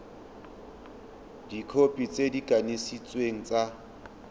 dikhopi tse di kanisitsweng tsa